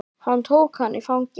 Hann tók hana í fangið.